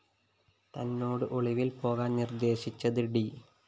തന്നോട് ഒളിവില്‍ പോകാന്‍ നിര്‍ദേശിച്ചത് ഡി